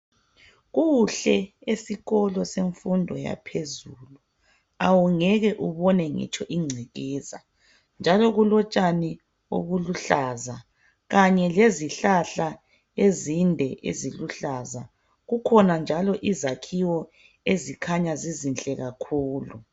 Kuhle esikolo semfundo yaphezulu awungeke ubone ngitsho ingcekeza njalo kulotshani obuluhlaza kanye lezihlahla ezinde eziluhlaza. Kukhona njalo izakhiwo ezikhanya zizinhle kakhulu.